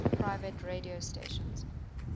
private radio stations